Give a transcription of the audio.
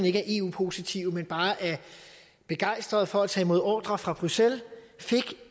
ikke er eu positive men bare er begejstrede for at tage imod ordrer fra bruxelles fik